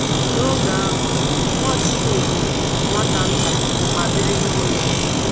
N’oge ahụ, Nwachukwu bụ “nwata nta” ma biri n’ụlọ.